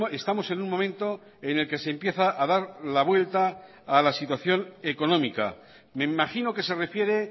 estamos en un momento en el que se empieza a dar la vuelta a la situación económica me imagino que se refiere